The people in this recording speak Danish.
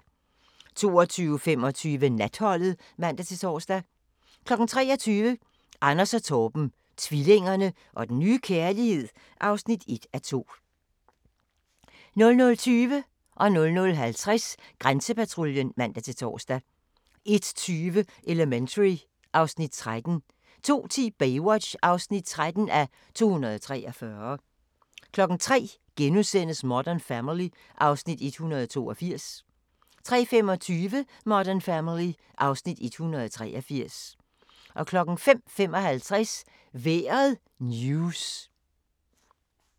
22:25: Natholdet (man-tor) 23:00: Anders og Torben - tvillingerne og den nye kærlighed (1:2) 23:35: Størst (5:8) 00:20: Grænsepatruljen (man-tor) 00:50: Grænsepatruljen (man-tor) 01:20: Elementary (Afs. 13) 02:10: Baywatch (13:243) 03:00: Modern Family (Afs. 182)* 03:25: Modern Family (Afs. 183) 05:55: Vejret news